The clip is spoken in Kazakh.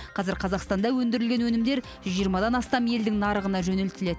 қазір қазақстанда өндірілген өнімдер жүз жиырмадан астам елдің нарығына жөнелтіледі